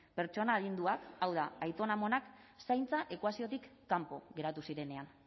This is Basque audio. pertsona adinduak hau da aitona amonak zaintza ekuaziotik kanpo geratu zirenean